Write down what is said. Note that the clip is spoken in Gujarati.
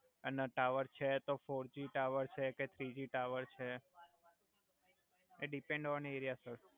અને ટાવર છે તો ફોરજી ટાવર છે કે થ્રીજી ટાવર છે એ ડીપેન્ડ ઑન એરિઆ સર